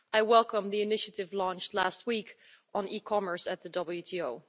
I welcome the initiative launched last week on e commerce at the WTO.